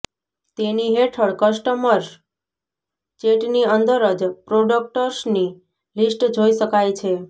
તેની હેઠળ કસ્ટમર્સ ચેટની અંદર જ પ્રોડક્ટસની લિસ્ટ જોઈ શકાય છે